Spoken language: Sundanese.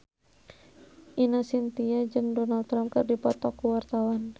Ine Shintya jeung Donald Trump keur dipoto ku wartawan